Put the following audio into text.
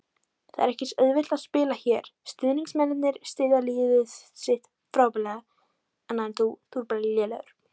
Það er ekki auðvelt að spila hér, stuðningsmennirnir styðja liðið sitt frábærlega.